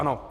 Ano.